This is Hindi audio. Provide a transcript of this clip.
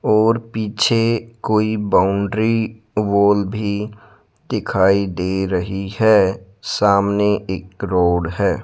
और पीछे कोई बाउंड्री वॉल भी दिखाई दे रही है सामने एक रोड है।